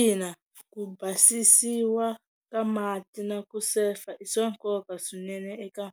Ina ku basisiwa ka mati na ku sefa i swa nkoka swinene eka